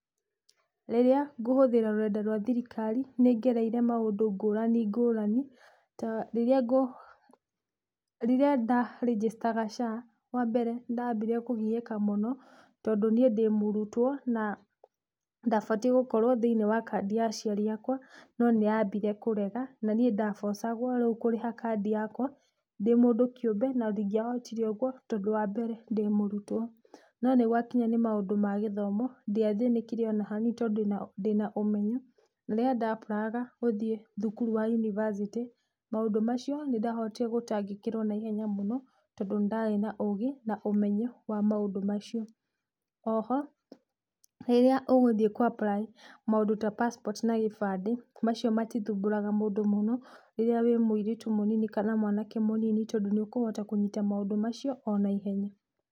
Rĩrĩa ngũhuthĩra rũrenda rwa thirikari, nĩngereire maũndũ ngũrani ngũrani ta riria ngũ rĩrĩa nda-rinjicitaga SHA. Wa mbere nĩ ndambire kugiĩka mũno tondũ niĩ ndĩ mũrutwo na ndabatiĩ gũkorwo thĩiniĩ wa kandi ya aciari akwa, no nĩ yambire kũrega na niĩ nda force -agwo rĩu kũrĩha kandi yakwa ndĩ mũndũ kĩũmbe na ndingĩahotire ũguo tondũ wa mbere ndĩ mũrutwo. No nĩgwakinya nĩ maũndũ ma gĩthomo ndiathĩnĩkire ona hanii tondũ ndĩna ũmenyo. Rĩrĩa nda-aplayaga guthiĩ thukuru wa university maũndũ macio nĩndahotire gũtangĩkĩrwo naihenya mũno, tondũ nĩ ndarĩ na ũgĩ na ũmenyo wa maũndũ macio. O-ho rĩrĩa ũgũthiĩ ku apply maũndũ ta passport na gĩbandĩ, macio mati thumbũraga mũndũ mũno rĩrĩa wĩ mũĩrĩtu mũnini kana mwanake munini tondu nĩũkũhota kũnyita maũndũ macio o-naihenya.